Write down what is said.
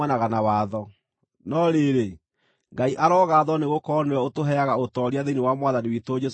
No rĩrĩ, Ngai arogaathwo nĩgũkorwo nĩwe ũtũheaga ũtooria thĩinĩ wa Mwathani witũ Jesũ Kristũ.